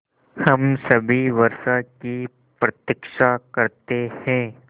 हम सभी वर्षा की प्रतीक्षा करते हैं